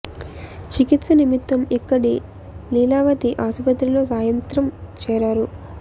చికిత్స నిమిత్తం ఇక్క డి లీలావతి ఆస్పత్రిలో సాయం త్రం చేరారు